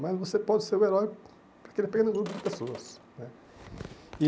Mas você pode ser o herói de um pequeno grupo de pessoas né. E